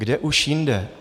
Kde už jinde?